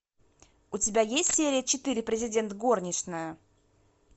у тебя есть серия четыре президент горничная